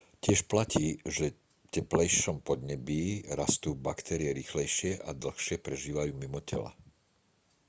tiež platí že teplejšom podnebí rastú baktérie rýchlejšie a dlhšie prežívajú mimo tela